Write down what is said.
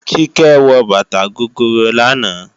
Kíkẹ́ wọ bàtà gogoro lánàá